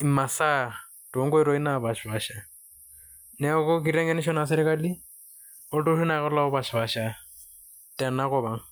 imasaa napaashipaasha. Neeku kiteng'enisho naa serkali olturruri naake lopaashipaasha tena kop ang'.